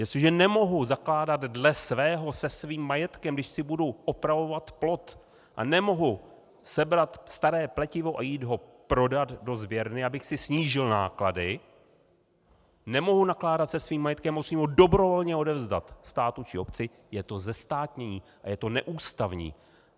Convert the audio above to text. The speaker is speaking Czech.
Jestliže nemohu nakládat dle svého se svým majetkem, když si budu opravovat plot a nemohu sebrat staré pletivo a jít ho prodat do sběrny, abych si snížil náklady, nemohu nakládat se svým majetkem, musím ho dobrovolně odevzdat státu či obci, je to zestátnění a je to neústavní.